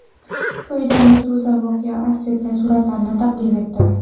Quyida Meduza voqea aks etgan suratlarni taqdim etdi .